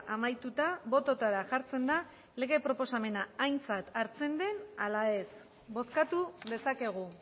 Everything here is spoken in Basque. amaituta bototara jartzen da lege proposamena aintzat hartzen den ala ez bozkatu dezakegu